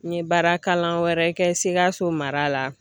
N ye baara kalan wɛrɛ kɛ Sikaso mara la.